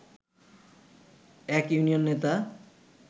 এক ইউনিয়ন নেতা